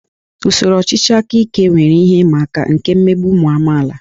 Usoro ọchịchị aka ike nwere ihe ịma aka nke mmegbu ụmụ amaala